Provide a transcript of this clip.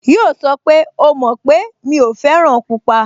Yíò sọ pé, "O mọ̀ pé mi ò fẹ́ràn pupa"